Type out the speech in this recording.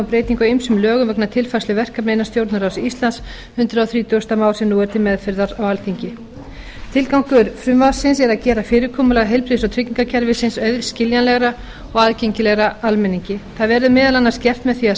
á ýmsum lögum vegna tilfærslu verkefna innan stjórnarráðs íslands hundrað þrítugasta mál sem nú er til meðferðar á alþingi tilgangur frumvarpsins er að gera fyrirkomulag heilbrigðis og tryggingakerfisins auðskiljanlegra og aðgengilegra almenningi það verður meðal annars gert með því að